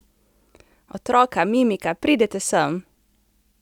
Otroka, Mimika, pridite sem!